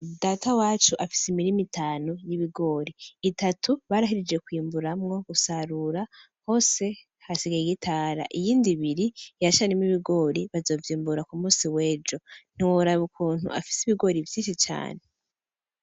Data wacu afise imirima itanu y’ibigori, itatu barahejeje kwimburamwo gusarura hose, hasigaye igitara. Iyindi ibiri iracarimwo ibigori bazovyimbura ku musi w’ejo. Ntiworaba ukuntu afise ibigori vyinshi cane.